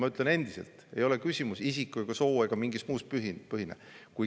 Ma ütlen endiselt: küsimus ei ole isiku‑, soo‑ ega millegi muu põhine.